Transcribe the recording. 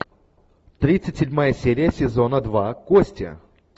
тридцать седьмая серия сезона два кости